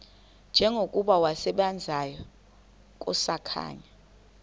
njengokuba wasebenzayo kusakhanya